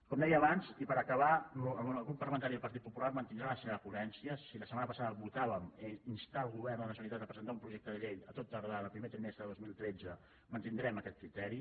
com deia abans i per acabar el grup parlamentari del partit popular mantindrà la seva prudència si la setmana passada votàvem instar el govern de la ge·neralitat a presentar un projecte de llei a tot tardar en el primer trimestre del dos mil tretze mantindrem aquest criteri